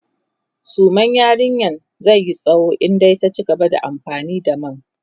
suman yarinyan zaiyi tsawo in dai ta cigaba da amfani da man